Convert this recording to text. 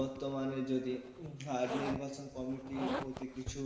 বর্তমানে যদি উম আর নির্বাচন কমিটি প্রতি কিছু,